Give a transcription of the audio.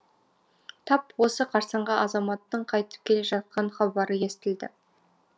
тап осы қарсаңға азаматтың қайтып келе жатқан хабары естілді